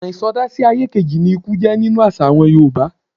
Ọ̀nà ìsọdá-sí-ayé-kejì ni ikú jẹ́ nínú àṣà àwọn Yorùbá.